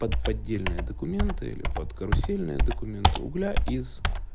под поддельные документы или под карусельные документы угля из